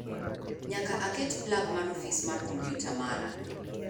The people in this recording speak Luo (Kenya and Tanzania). Nyaka aket plag mar ofis mar kompyuta mara